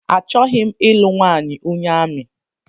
Achọghị m ịlụ nwanyị onye amị